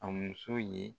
A muso ye